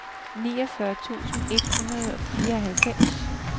niogfyrre tusind et hundrede og fireoghalvfems